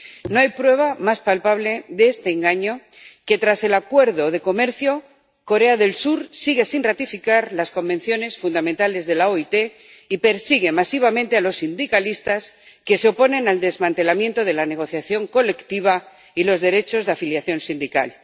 No hay prueba más palpable de este engaño que el hecho de que tras el Acuerdo de Libre Comercio Corea del Sur siga sin ratificar las convenciones fundamentales de la OIT y persiga masivamente a los sindicalistas que se oponen al desmantelamiento de la negociación colectiva y los derechos de afiliación sindical.